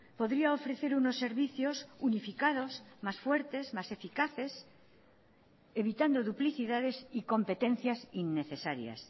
podría ofrecer unos servicios unificados más fuertes más eficaces evitando duplicidades y competencias innecesarias